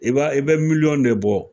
I b'a i bɛ miliyɔn de bɔ